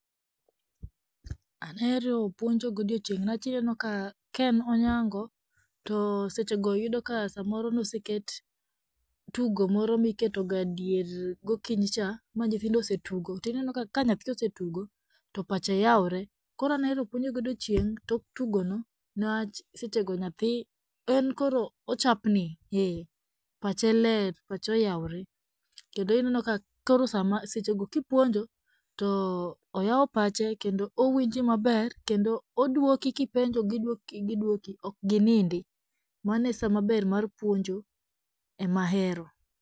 Ahero puonjo godiechieng niwach, inenoka kaen onyango, to sechego yudo ka samoro noseket tugo moro miketoga dier gokinyicha ma nyithindo osetugo, to inenoka ka nyathi osetugo, to pache yawre, koro an ahero puonjo godiechieng, to tugono niwach sechego nyathi en koro ochapni ee pache ler, pache oyawre, kendo inenoka koro sechego kipuonjo to oyawo pache kendo owinji maber, kendo odwoki kipenjo gidwoko gidwoki okginindi, mano e saa mar puonjo emahero.